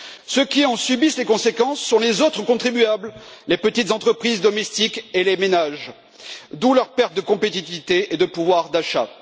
Ceux qui en subissent les conséquences sont les autres contribuables, les petites entreprises domestiques et les ménages, d'où leur perte de compétitivité et de pouvoir d'achat.